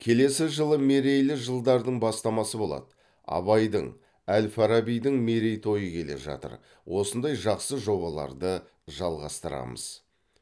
келесі жылы мерейлі жылдардың бастамасы болады абайдың әл фарабидің мерейтойы келе жатыр осындай жақсы жобаларды жалғастырамыз